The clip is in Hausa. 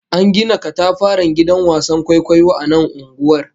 An gina katafaren gidan wasan kwaikwayo a nan unguwar